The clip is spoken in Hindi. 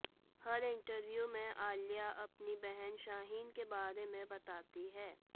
हर इंटरव्यू में आलिया अपनी बहन शाहीन के बारे में बताती हैं